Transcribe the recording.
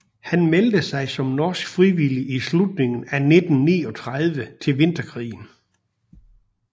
Han meldte sig som norsk frivillig i slutningen af 1939 til Vinterkrigen